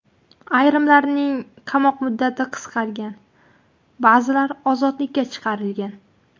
Ayrimlarning qamoq muddati qisqargan, ba’zilar ozodlikka chiqarilgan.